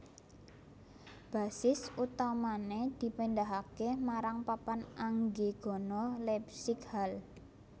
Basis utamané dipindahaké marang Papan Anggegana Leipzig Halle